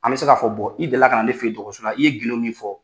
An bɛ se k'a fɔ bɔ i deli kana ne fɛ dɔgɔtɔrɔsola i ye gido min fɔ